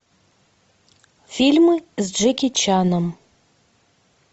фильмы с джеки чаном